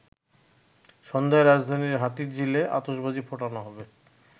সন্ধ্যায় রাজধানীর হাতিরঝিলে আতশবাজি ফোটানো হবে।